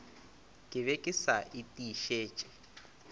ke be ke sa etišitše